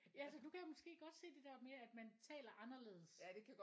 Ja så du kan måske godt se det der med at man taler anderledes